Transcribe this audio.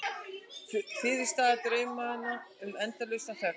Fyrirstaða draumanna um endalausa þögn.